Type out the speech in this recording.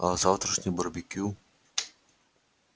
а о завтрашнем барбекю